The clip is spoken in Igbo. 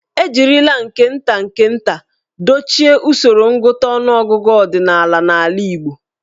E jirila nke nta nke nta dochie usoro ngụta ọnụọgụgụ ọdịnala n'ala Igbo.